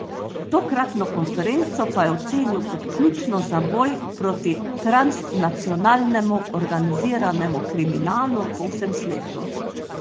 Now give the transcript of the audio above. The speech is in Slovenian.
Tokratno konferenco pa je ocenil kot ključno za boj proti transnacionalnemu organiziranemu kriminalu po vsem svetu.